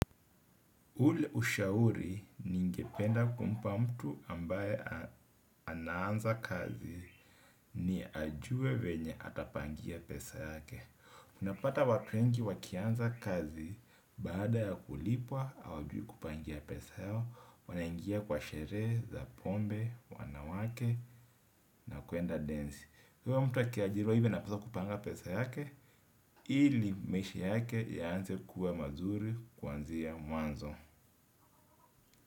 Ule ushauri ningependa kumpa mtu ambaye anaanza kazi ni ajue venye atapangia pesa yake. Unapata watu wengi wakianza kazi baada ya kulipwa hawajui kupangia pesa yao, wanaingia kwa sheree, za pombe, wanawake na kuenda densi. Uyo mtu akiajiriwa hivyo anapasa kupanga pesa yake, ili maishi yake yaanze kuwa mazuri kuanzia mwanzo.